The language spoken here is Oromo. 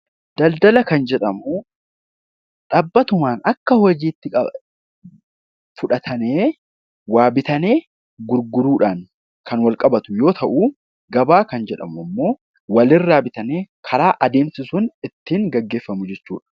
Daldala kan jedhamu dhaabbatuma akka hojiitti fudhatamee waa bituudhaaf gurguruudhaaf kan wal qabatu yoo ta'u gabaa jechuun walirraa bitanii karaa adeemsisuun ittiin gaggeeffamu jechuudha